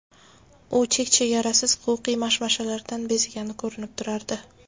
U chek-chegarasiz huquqiy mashmashalardan bezgani ko‘rinib turardi.